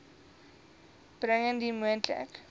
bring indien moontlik